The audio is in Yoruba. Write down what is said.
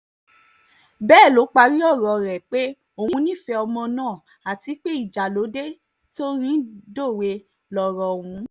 bẹ́ẹ̀ ló parí ọ̀rọ̀ rẹ̀ pé òun nífẹ̀ẹ́ ọmọ náà àti pé ìjà ló dé tí orin dòwe lọ̀rọ̀ ọ̀hún